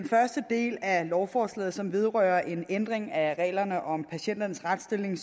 første del af lovforslaget som vedrører en ændring af reglerne om patienternes retsstilling